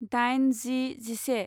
दाइन जि जिसे